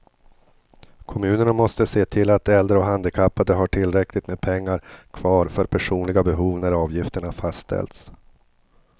Kommunerna måste se till att äldre och handikappade har tillräckligt med pengar kvar för personliga behov när avgifterna fastställs.